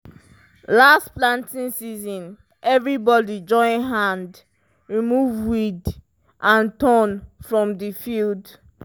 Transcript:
last planting season everybody join hand remove weed and thorn from the field